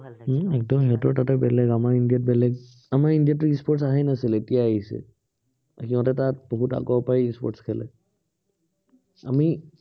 উম সিহঁতৰ তাতে বেলেগ, আমাৰ ইন্দিয়াত বেলেগ। আমাৰ ইন্দিয়াতটো e-sports অহাই নাছিলে। এতিয়া আহিছে। সিহঁতে তাত বহুত আগৰ পৰাই e-sports খেলে। আমি